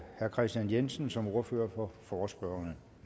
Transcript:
herre kristian jensen som ordfører for forespørgerne